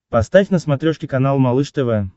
поставь на смотрешке канал малыш тв